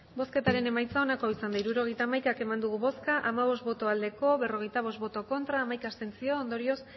hirurogeita hamaika eman dugu bozka hamabost bai berrogeita bost ez hamaika abstentzio ondorioz